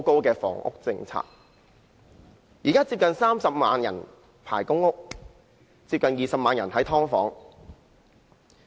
現時香港有接近30萬人輪候公屋，接近20萬人住在"劏房"。